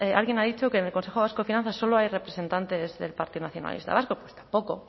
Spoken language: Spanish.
alguien ha dicho que en el consejo vasco de finanzas solo hay representantes del partido nacionalista vasco pues tampoco